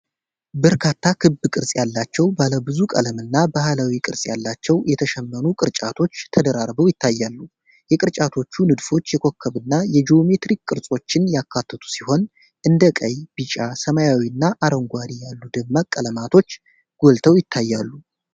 በርካታ ክብ ቅርጽ ያላቸው ባለብዙ ቀለም እና ባህላዊ ቅርጽ ያላቸው የተሸመኑ ቅርጫቶች ተደራርበው ይታያሉ። የቅርጫቶቹ ንድፎች የኮከብና የጂኦሜትሪክ ቅርጾችን ያካተቱ ሲሆን፣ እንደ ቀይ፣ ቢጫ፣ ሰማያዊ እና አረንጓዴ ያሉ ደማቅ ቀለሞች ጎልተው ይታያሉ።